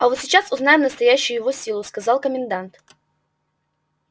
а вот сейчас узнаем настоящую его силу сказал комендант